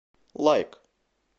лайк